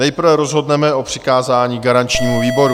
Nejprve rozhodneme o přikázání garančnímu výboru.